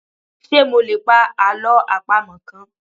Ṣé mo lè pa Àlọ́ àpamọ̀ kan?